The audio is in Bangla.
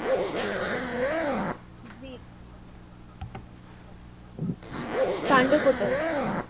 কান্ড কোতুল